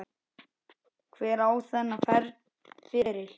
Hver á þennan feril?